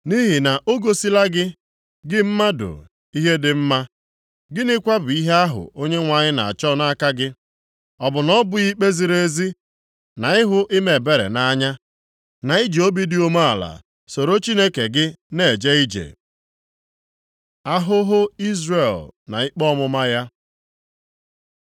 Nʼihi na o gosila gị, gị mmadụ, ihe dị mma. Gịnịkwa bụ ihe ahụ Onyenwe anyị na-achọ nʼaka gị, Ọ bụ na ọ bụghị ikpe ziri ezi, na ịhụ ime ebere nʼanya, na iji obi dị umeala soro Chineke gị na-eje ije? Ahụhụ Izrel na ikpe ọmụma ya